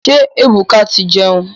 Ṣé Ebuka ti ń jẹun.